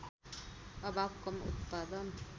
अभाव कम उत्पादन